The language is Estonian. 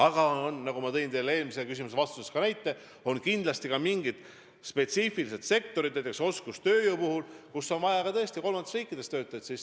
Aga nagu ma tõin teie eelmisele küsimusele vastates näite, kindlasti on ka mingid spetsiifilised sektorid, kus vajatakse oskustööjõudu ja kus on tõesti vaja töötajaid ka kolmandatest riikidest.